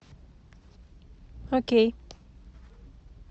окей